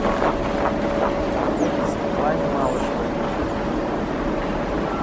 светлане малышевой